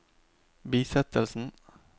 bisettelsen